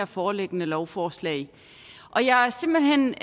foreliggende lovforslag og jeg er simpelt hen